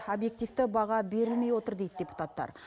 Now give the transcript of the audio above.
объективті баға берілмей отыр дейді депутаттар